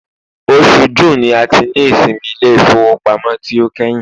osù June ni a ti ni ìsinmi ilé ifowópamọ́ ti o kehin